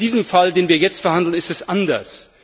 In diesem Fall, den wir jetzt verhandeln, ist es anders.